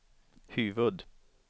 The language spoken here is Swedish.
huvud-